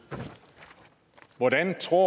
hvordan tror